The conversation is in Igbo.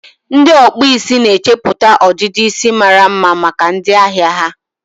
ndị ọkpụ isi na-echeputa ọdịdị isi mara mma maka ndị ahịa ha.